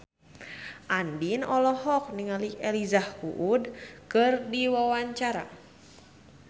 Andien olohok ningali Elijah Wood keur diwawancara